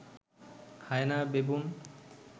hyena, baboon